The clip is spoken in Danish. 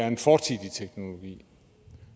en fortidig teknologi